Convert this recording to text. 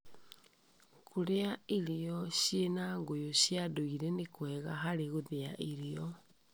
Kũrĩa irio cina ngũyũ cia ndũire nĩ kwega hari gũthĩya irio.